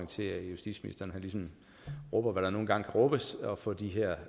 til at justitsministeren ligesom rubber hvad der nu engang kan rubbes for at få de her